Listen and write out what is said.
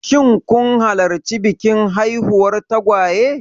Shin kun halarci bikin haifuwar tagwaye?